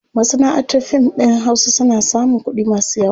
Masanaʼantar fim ɗin hausa suna samun kuɗi masu yawa.